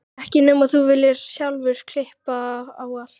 Því myndir hugans eiga að duga okkur jafnvel framvegis.